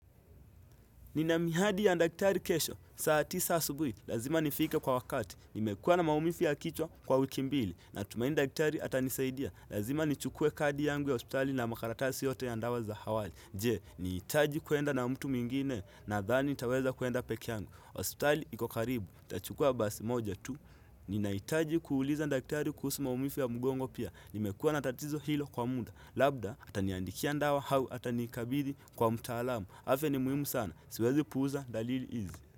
Nina mihadi ya dakitari kesho, saa tisa asubuhi, lazima nifike kwa wakati, nimekuwa na maumivu ya kichwa kwa wiki mbili, natumaini dakitari atanisaidia, lazima nichukue kadi yangu ya hospitali na makaratasi yote ya dawa za awali, je, nihitaji kuenda na mtu mwingine, nadhani nitaweza kuenda pekee yangu, hospitali iko karibu, nitachukua basi moja tu, ninahitaji kuuliza daktari kuhusu maumivu ya mgongo pia, nimekuwa na tatizo hilo kwa muda, labda, ataniandikia dawa au, atanikabidhi kwa mtaalamu, afya ni muhimu sana, Siwezi puuza, dalili hizi.